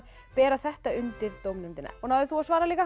bera þetta undir dómnefndina náðir þú að svara líka